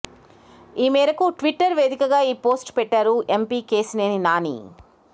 ఈ మేరకు ట్విట్టర్ వేదికగా ఈ పోస్ట్ పెట్టారు ఎంపీ కేశినేని నాని